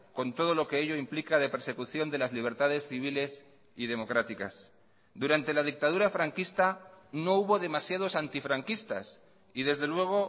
con todo lo que ello implica de persecución de las libertades civiles y democráticas durante la dictadura franquista no hubo demasiados antifranquistas y desde luego